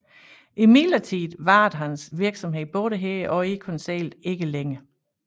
Imidlertid varede hans virksomhed både her og i Konseillet ikke længe